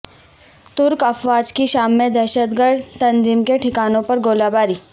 ترک افواج کی شام میں دہشتگرد تنظیم کے ٹھکانوں پر گولہ باری